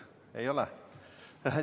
Ei ole?